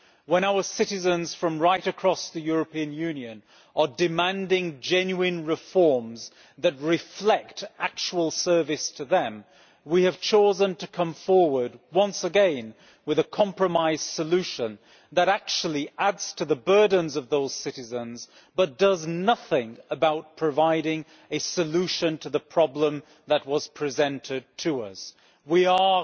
When our citizens from right across the European Union are demanding genuine reforms that reflect actual service to them, we have chosen to come forward once again with a compromise solution that actually adds to the burdens of those citizens but does nothing about providing a solution to the problem that was presented to us. We are